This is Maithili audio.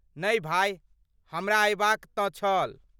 नहि भाय, हमरा अयबाक तँ छल।